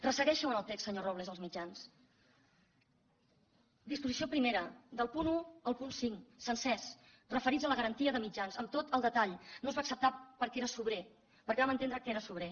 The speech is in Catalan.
ressegueixi’ls en el text senyor robles els mitjans disposició primera del punt un al punt cinc sencers referits a la garantia de mitjans amb tot el detall no es va acceptar perquè era sobrer perquè vam entendre que era sobrer